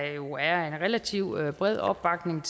jo er en relativt bred opbakning